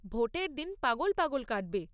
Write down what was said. ভোটের দিনটা পাগল পাগল কাটবে।